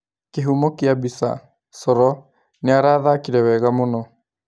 Kĩhumo kĩa mbica : Coro "Nĩarathakire wega muno.